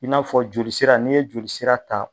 I n'a fɔ joli sira n'i ye joli sira ta